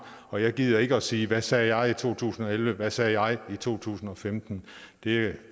og jeg gider ikke at sige hvad sagde jeg i to tusind og elleve hvad sagde jeg i 2015 det